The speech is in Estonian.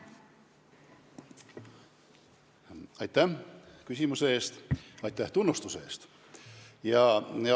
Aitäh küsimuse eest ja aitäh tunnustuse eest!